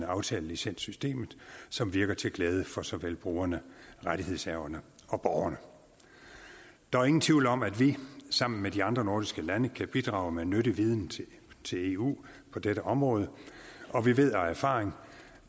aftalelicenssystemet som virker til glæde for såvel brugerne rettighedshaverne og borgerne der er ingen tvivl om at vi sammen med de andre nordiske lande kan bidrage med nyttig viden til eu på dette område og vi ved af erfaring